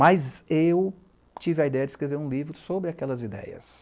Mas eu tive a ideia de escrever um livro sobre aquelas ideias.